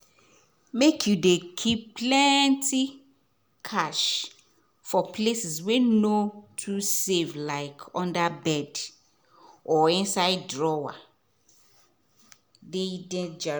make you dey keep plenty cash for places wey no too safe like under bed or inside drawer dey dangerous.